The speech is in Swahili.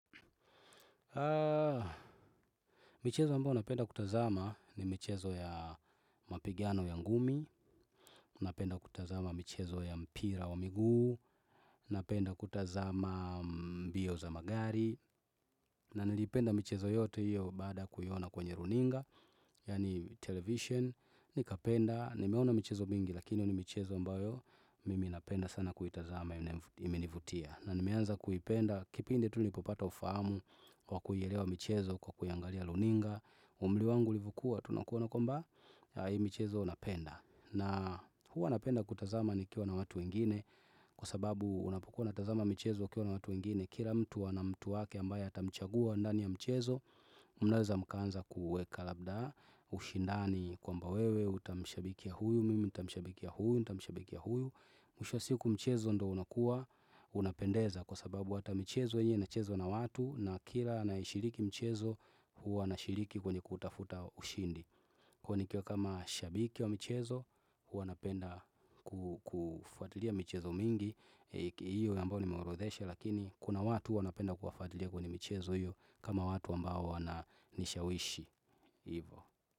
Michezo mbayo napenda kutazama. Ni michezo ya mapigano ya ngumi. Napenda kutazama michezo ya mpira wa miguu. Napenda kutazama mbio za magari. Na nilipenda michezo yote hiyo baada kuiona kwenye runinga, yaani television, nikapenda. Nimeona michezo mingi, lakini hiyo ni michezo mbayo. Mimi napenda sana kuitazama imenivutia. Na nimeanza kuipenda kipindi tu nilipopata ufahamu kwa kuielewa michezo kwa kuiangalia runinga. Umri wangu ulivyo kuwa tunakuona kwamba, saa hii michezo napenda. Na huwa napenda kutazama nikiwa na watu wengine kwa sababu unapukuwa unatazama michezo ukiwa na watu wengine. Kila mtu ana mtu wake ambaye hatamchagua ndani ya mchezo. Mnaweza mkaanza kuweka labda, ushindani kwamba wewe utamshabikia ya huyu, mimi nitamshabikia huyu. Mwisho wa siku mchezo ndio unakuwa. Unapendeza kwa sababu hata michezo yenyewe ina chezwa na watu. Na kila anayeshiriki michezo, huwa anashiriki kwenye kutafuta ushindi. Kwani nikiwa kama shabiki wa michezo huwa napenda. Kufuatilia michezo mingi. Hiyo ambayo nimeorodhesha lakini, kuna watu wanapenda kuwafuatilia wenye michezo hiyo, kama watu ambao wananishawishi.